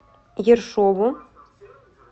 ершову